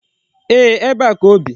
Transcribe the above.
Ee, ebe a ka o bi.